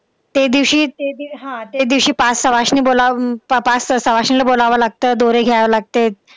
तेदिवशी ते हा तेदिवशी पाच सवाष्णी बोलावून पाच सवाष्णीला बोलावं लागतं. दोरे घ्यावे लागते.